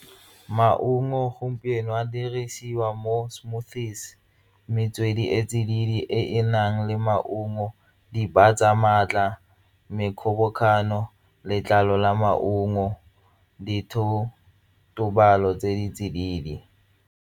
Maungo gompieno ka dirisiwa mo smoothies, metswedi e tsididi e e nang le maungo di batsa maatla, me kgobokanyo letlalo la maungo tse di tsididi.